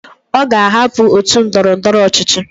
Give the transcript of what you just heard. Oga ahapu otu ndọrọ ndọrọ ọchịchị